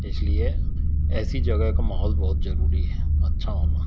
इसलिए ऐसी जगह का माहौल बहुत जरूरी है अच्छा होना--